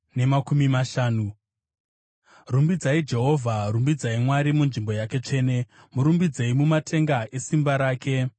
Rumbidzai Jehovha. Rumbidzai Mwari munzvimbo yake tsvene; murumbidzei mumatenga esimba rake.